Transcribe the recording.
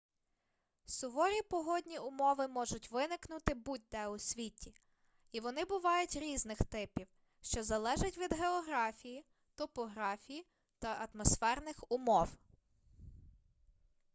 суворі погодні умови можуть виникнути будь-де у світі і вони бувають різних типів що залежить від географії топографії та атмосферних умов